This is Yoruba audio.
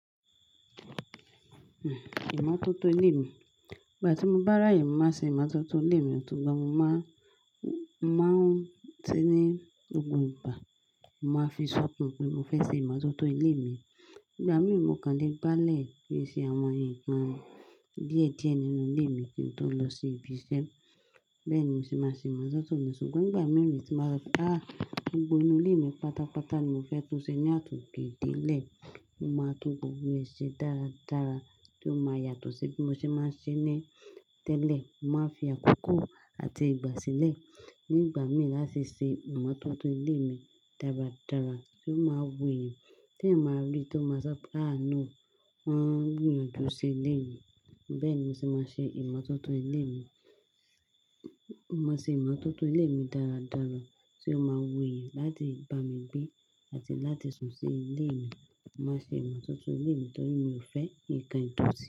Ìmọ́tótó ilé mi. Ìgbà tí mo bá ráayè, ni mo màá n ṣe ìmọ́tótó ilé mi, ṣùgbọ́n mo màá ń se ní gbogbo ìgbà, mo màá fi sọ̀kàn pé mo fẹ́ ṣe ìmọ́tótó ilé mi. Ígbà mìí, mo kàn lé gbá ilẹ̀ ki n ṣe àwọn nǹkan díẹ̀díẹ̀ nínú ilé mi kí n tó lọ sí ibi iṣẹ́. Bẹ́ẹ̀ ni mo se máa n ṣe ìmọ́tótó mi ṣùgbọ́n nígbà mìí tí n ba sọ pé, "áà, gbogbo inú ilé mi pátápátá ni mo fẹ́ tún ṣe ní àtòke de ile, mo máa tún gbogbo rẹ̀ ṣe dáradára tí ó máa yàtọ̀ sí bí mo ṣe máa ń ṣe é tẹ́lẹ̀. Mo máa fi àkókò àti ìgbà sílẹ̀ nígbà mìí láti ṣe ìmọ́tótó ilé mi dáradára tí ó máa wuyì tí èmi máa rí tí ó máa sọ pé, "áà náà o, wọ́n ń gbìyànjú ṣe ilé mi". Bẹ́ẹ̀ ni mo sì máa ṣe ìmọ́tótó ilé mi. Mo ṣe ìmọ́tótó ilé mi dáradára tí ó máa wuyì láti bá mi gbé àti láti sùn sí ilé mi. Mo máa ṣe ìmọ́tótó ilé mi torí mi ò fẹ́ nǹkan tó.